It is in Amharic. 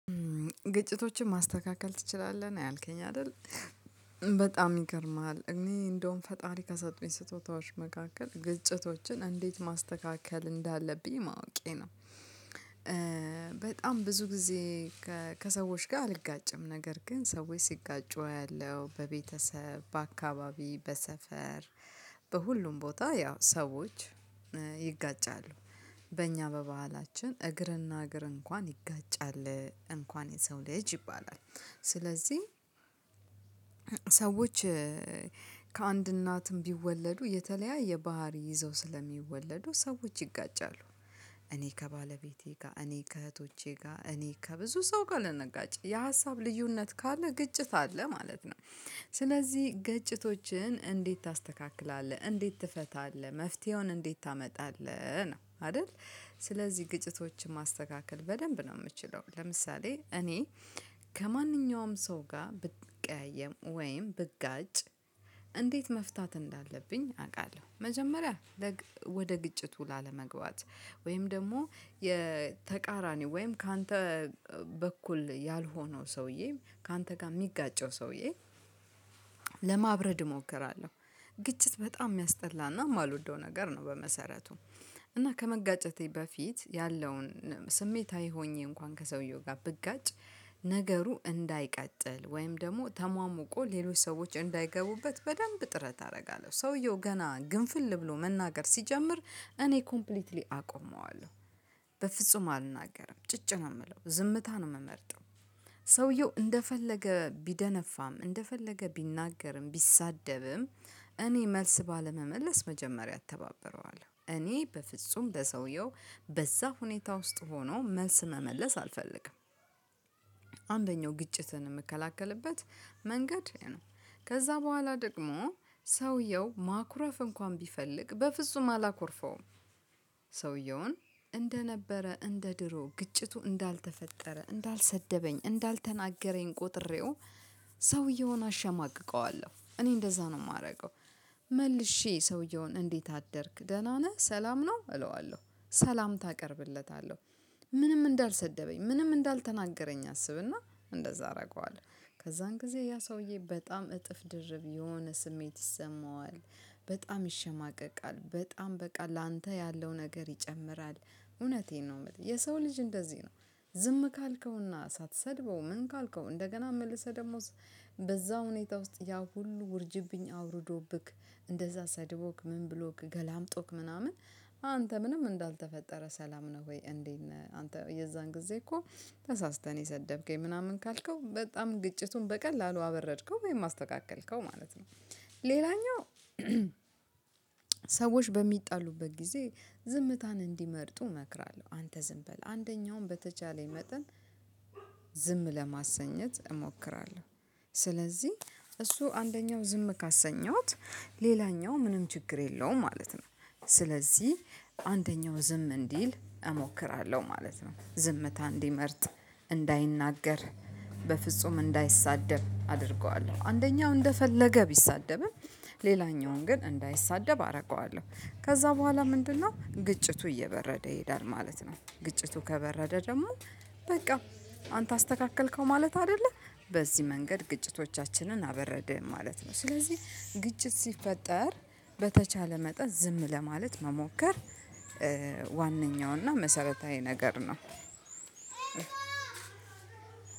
ግጭቶችን ማስተካከል ትችላለህ ነው ያልከኝ አይደል? በጣም ይገርምሃል እኔ እንደውም ፈጣሪ ከሰጡኝ ስጦታዎች መካከል ግጭቶችን እንዴት ማስተካከል እንዳለብኝ ማወቄ ነው። በጣም ብዙ ጊዜ ከሰዎች ጋር አልጋጭም ነገር ግን ሰዎች ሲጋጩ አያለሁ በቤተሰብ በአካባቢ በሰፈር በሁሉም ቦታ ያው ሰዎች ይጋጫሉ። በእኛ በባህላችን እግርና እግር እንኳን ይጋጫል እንኳን የሰው ልጅ ይባላል። ስለዚህ ሰዎች ከአንድ እናትም ቢወለዱ የተለያየ ባህሪ ይዘው ስለሚወለዱ ሰዎች ይጋጫሉ። እኔ ከባለቤቴ ጋር እኔ ከእህቶቼ ጋር እኔ ከብዙ ሰው ጋር ልንጋጭ የሀሳብ ልዩነት ካለ ግጭት አለ ማለት ነው። ስለዚህ ግጭቶችን እንዴት ታስተካክላለህ እንዴት ትፈታለህ መፍትሄውን እንዴት ታመጣለህ ነው አይደል? ስለዚህ ግጭቶችን ማስተካከል በደንብ ነው የምችለው። ለምሳሌ እኔ ከማንኛውም ሰው ጋር ብትቀያየም ወይም ብጋጭ እንዴት መፍታት እንዳለብኝ አውቃለሁ። መጀመሪያ ወደ ግጭቱ ላለመግባት ወይም ደግሞ የተቃራኒው ወይም ካንተ በኩል ያልሆነው ሰውዬ ካንተ ጋር የሚጋጨው ሰውዬ ለማብረድ እሞክራለሁ። ግጭት በጣም የሚያስጠላና የማልወደው ነገር ነው። በመሰረቱ እና ከመጋጨቴ በፊት ያለውን ስሜታዊ ሆኜ እንኳን ከሰውየው ጋር ብጋጭ ነገሩ እንዳይቀጥል ወይም ደግሞ ተሟሙቆ ሌሎች ሰዎች እንዳይገቡበት በደንብ ጥረት አደርጋለሁ። ሰውየው ገና ግንፍል ብሎ መናገር ሲጀምር እኔ ኮምፕሊትሊ አቆመዋለሁ። በፍጹም አልናገርም ጭጭ ነው የምለው ዝምታ ነው የምመርጠው። ሰውየው እንደፈለገ ቢደነፋም እንደፈለገ ቢናገርም ቢሳደብም እኔ መልስ ባለመመለስ መጀመሪያ እተባበረዋለሁ እኔ በፍጹም ለሰውየው በዛ ሁኔታ ውስጥ ሆኖ መስ መመለስ አልፈልግም። አንደኛው ግጭትን የምከላከልበት መንገድ ነው። ከዛ በኋላ ደግሞ ሰውየው ማኩረፍ እንኳን ቢፈልግ በፍጹም አላኮርፈውም። ሰውየውን እንደነበረ እንደ ድሮ ግጭቱ እንዳልተፈጠረ እንዳልሰደበኝ እንዳልተናገረኝ ቆጥሬው ሰውየውን አሸማቅቀዋለሁ እኔ እንደዛ ነው የማደርገው። መልሼ ሰውየውን እንዴት አደርክ ደህና ነህ ሰላም ነው እለዋለሁ ሰላምታ አቀርብለታለሁ። ምንም እንዳልሰደበኝ ምንም እንዳልተናገረኝ አስብና እንደዛ አደርገዋለሁ ከዛን ጊዜ ያ ሰውዬ በጣም እጥፍ ድርብ የሆነ ስሜት ይሰማዋል። በጣም ይሸማቀቃል በጣም በቃ ላንተ ያለው ነገር ይጨምራል እውነቴን ነው የምልህ የሰው ልጅ እንደዚህ ነው። ዝም ካልከውና ሳትሰድበው ምን ካልከው እንደገና መልሰህ ደሞ በዛ ሁኔታ ውስጥ ያ ሁሉ ውርጅብኝ አውርዶብክ እንደዛ ሰድቦክ ምን ብሎክ ገላምጦክ ምናምን አንተ ምንም እንዳልተፈጠረ ሰላም ነው። ወይ እንዴት ነህ? አንተ የዛን ጊዜ እኮ ተሳስተን የሰደብከኝ ምናምን ካልከው በጣም ግጭቱን በቀላሉ አበረድከው ወይም አስተካከልከው ማለት ነው። ሌላኛው ሰዎች በሚጣሉበት ጊዜ ዝምታን እንዲመርጡ እመክራለሁ። አንተ ዝም በል አንደኛውን በተቻለኝ መጠን ዝም ለማሰኘት እሞክራለሁ። ስለዚህ እሱ አንደኛው ዝም ካሰኘሁት ሌላኛው ምንም ችግር የለውም ማለት ነው። ስለዚህ አንደኛው ዝም እንዲል እሞክራለሁ ማለት ነው ዝምታ እንዲመርጥ እንዳይናገር በፍጹም እንዳይሳደብ አደርገዋለሁ አንደኛው እንደፈለገ ቢሳደብም ሌላኛውን ግን እንዳይሳደብ አደርገዋለሁ። ከዛ በኋላ ምንድነው ግጭቱ እየበረደ ይሄዳል ማለት ነው። ግጭቱ ከበረደ ደግሞ በቃ አንተ አስተካከልከው ማለት አይደለ? በዚህ መንገድ ግጭቶቻችንን አበረደን ማለት ነው። ስለዚህ ግጭት ሲፈጠር በተቻለ መጠን ዝም ለማለት መሞከር ዋነኛውና መሰረታዊ ነገር ነው።